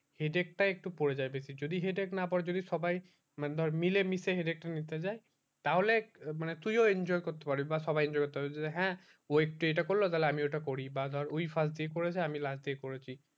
headche টা একটু পরে যায় বেশি যদি headache না পরে যদি সবাই মানে ধর মিলে মিশে headache তা নিতে যায় তা হলে তুইও enjoy করতে পারবি বা সবাই enjoy করতে পারবে হ্যাঁ ওই একটু এইটা করলো তালে আমিও ওটা করি বা ধর ওই first এ করেছে আমি last এ এই করেছি